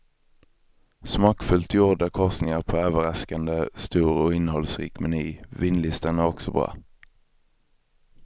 Smakfullt gjorda korsningar på överraskande stor och innehållsrik meny, vinlistan är också bra.